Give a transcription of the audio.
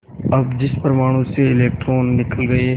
अब जिस परमाणु से इलेक्ट्रॉन निकल गए